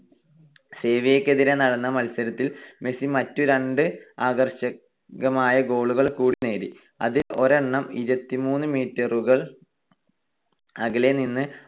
സെവിയ്യക്കെതിരായി നടന്ന മത്സരത്തിൽ മെസ്സി മറ്റ് രണ്ട് ആകർഷകമായ goal കൾ കൂടി നേടി. അതിൽ ഒരെണ്ണം ഇരുപത്തിമൂന്ന് meter കൾ അകലെ നിന്ന്